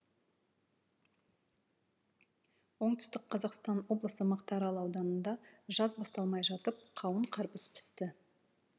оңтүстік қазақстан облысы мақтарал ауданында жаз басталмай жатып қауын қарбыз пісті